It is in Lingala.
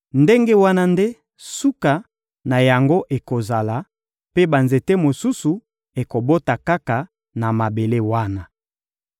Ndenge wana nde suka na yango ekozala; mpe banzete mosusu ekobota kaka na mabele wana.